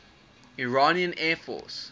iranian air force